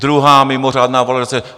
Druhá mimořádná valorizace.